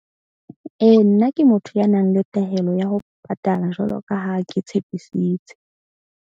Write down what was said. Ee, nna ke motho ya nang le tahelo ya ho patala jwalo ka ha ke tshepisitse.